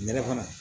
Nɛrɛ fana